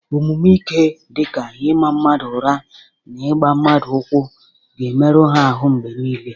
Omume ike dị ka ịma mmadụ ụra na ịgba mmadụ ụkwụ ga-emerụ ha ahụ mgbe niile.